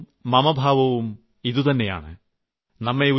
സമഭാവവും മമഭാവവും ഇതുതന്നെയാണ്